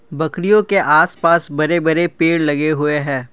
बकरियों के आस पास बड़े बड़े पेड़ लगे हुए हैं।